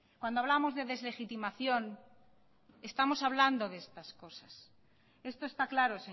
cuando hablamos de deslegitimación estamos hablando de estas cosas esto está claro